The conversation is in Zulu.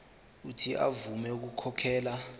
uuthi avume ukukhokhela